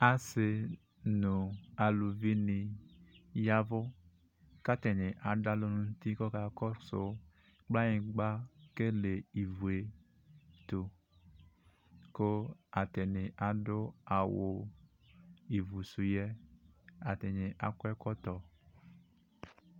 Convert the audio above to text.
Asi nʋ alʋvi ni ya ɛvʋ kʋ atani adʋ alɔ nʋ yti kakɔsʋ kplanyigba kele ivue tʋ kʋ atani adʋ awʋ ivʋsʋ yɛ atani akɔ ekɔtɔ